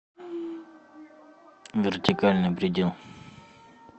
вертикальный предел